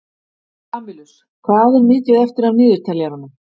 Kamilus, hvað er mikið eftir af niðurteljaranum?